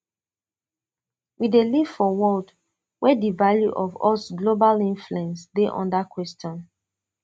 we dey live for world wia di value of us global influence dey under question